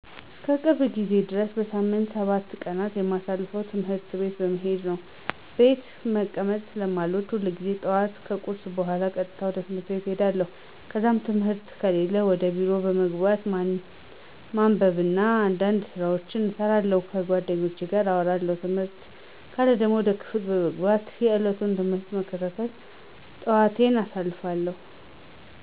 እስከ ቅርብ ጊዜ ድረስ በሳምንት ሰባቱን ቀናት የማሳልፈው ትምህርት ቤት በመሄድ ነው። ቤት መቀመጥ ስለማልወድ ሁልጊዜም ጠዋት ከቁርስ በኋላ ቀጥታ ወደ ትምህርት ቤት እሄዳለሁ። ከዛም ትምህርት ከሌለ ወደ ቢሮ በመግባት ማንበብ እና አንዳንድ ስራዎችን እሰራለሁ፣ ከጓደኞቼ ጋር አወራለሁ። ትምህርት ካለ ደግሞ ወደ ክፍል በመግባት የዕለቱን ትምህርት በመከታተል ጠዋቴን አሳልፋለሁ።